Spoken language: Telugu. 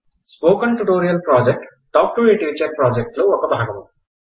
spoken tutorial project talk to a teacher project లో ఒక భాగము